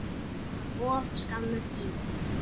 Það var of skammur tími.